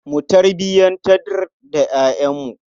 Mu tarbiyantar da ƴaƴanmu.